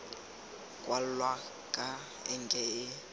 kwalwa ka enke e e